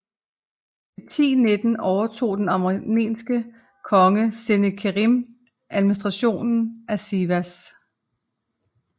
I 1019 overtog den armenske konge Senekerim administrationen af Sivas